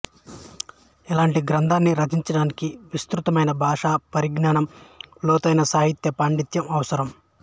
ఇలాంటి గ్రంథాన్ని రచించడానికి విస్తృతమైన భాషా పరిజ్ఞానం లోతైన సాహిత్య పాండీత్యం అవసరం